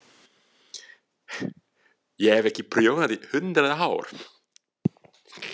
Ég hef ekki prjónað í hundrað ár.